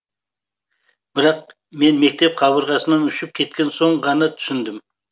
бірақ мен мектеп қабырғасынан ұшып кеткен соң ғана түсіндім